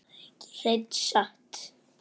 Hreina satt.